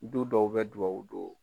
Du dɔw bɛ duwawu do.